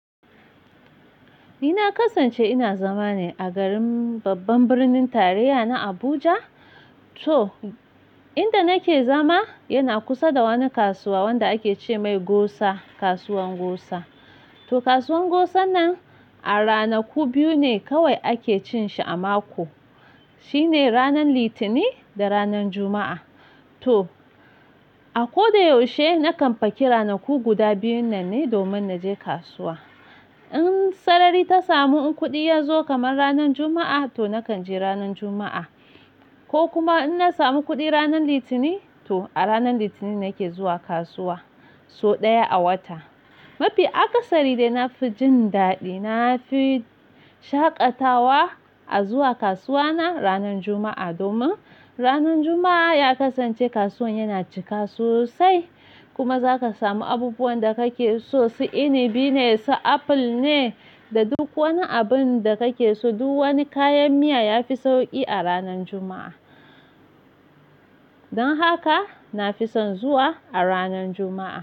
Ni na kasance ina zama ne a garin babban birnin tarayya na Abuja. To, inda nake zama yana kusa da wani kasuwa wanda ake ce mai Gosa, kasuwan Gosa. To kasuwan Gosa nan a ranaku biyu ne kawai ake cin shi a mako, shine ranar Litinin da ranar Juma'a. To, a ko da yaushe nakan faki ranaku guda biyun nan ne domin na je kasuwa. In sarari ta samu, in kuɗi ya zo kamar ranar Juma'a, to nakan je ranar Juma'a. Ko kuma in na samu kuɗi ranar Litinin, to a ranar Litinin nake zuwa kasuwa. So ɗaya a wata. Mafi akasari dai na fi jin daɗi, na fi shaƙatawa a zuwa kasuwa na ranar Juma'a. Domin ranar Juma'a ya kasance kasuwan yana cika sosai kuma za ka samu abubuwan da kake so, si inibi ne, si aful ne, da duk wani abun da kake so. Duk wani kayan miya ya fi sauƙi a ranar Juma'a. Don haka na fi son zuwa a ranar Juma'a.